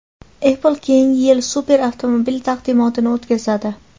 Apple keyingi yil super avtomobil taqdimotini o‘tkazadi.